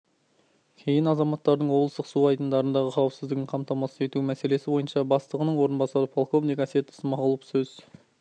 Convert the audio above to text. кейін азаматтардың облыстық су айдындарындағы қауісіздігін қамтамасыз ету мәселесі бойынша бастығының орынбасары полковник әсет ысмағұлов сөз